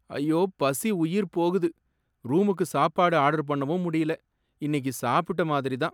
ஐயோ! பசி உயிர் போகுது. ரூமுக்கு சாப்பாடு ஆர்டர் பண்ணவும் முடியல. இன்னிக்கு சாப்பிட்ட மாதிரி தான்!